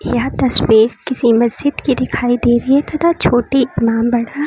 यह तस्वीर किसी मस्जिद की दिखाई दे रही है तथा छोटी नाम बढ़ा--